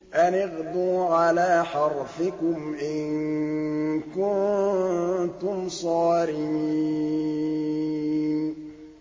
أَنِ اغْدُوا عَلَىٰ حَرْثِكُمْ إِن كُنتُمْ صَارِمِينَ